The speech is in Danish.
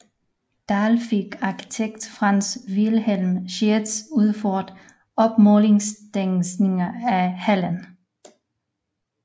Dahl fik arkitekt Franz Wilhelm Schiertz udført opmålingstegninger af hallen